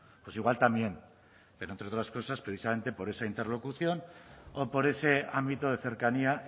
pues igual también pero entre otras cosas precisamente por esa interlocución o por ese ámbito de cercanía